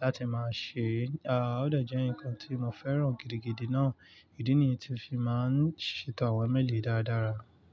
láti máa ṣe, a ó dẹ̀ jẹ́ nǹkan tí mo fẹ́ràn gidigidi náà. Ìdí nìyẹn tí fi máa ń ṣètò àwọn ímeélì dáradára.